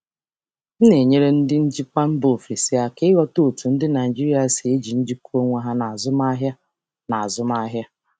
Ana m enyere ndị njikwa si mba ọzọ aka ịghọta ka ndị Naịjirịa si eji mmekọrịta onwe kpọrọ ihe n'ahịa.